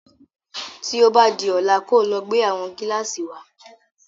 Tí o bá di ọ̀la kí o lọ gbé àwọn Gílàsì wa